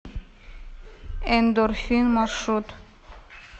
эндорфин маршрут